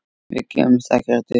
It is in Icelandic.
Við gefumst ekkert upp.